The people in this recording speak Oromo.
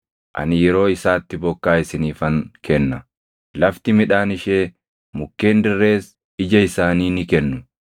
ani yeroo isaatti bokkaa isiniifan kenna; lafti midhaan ishee, mukkeen dirrees ija isaanii ni kennu.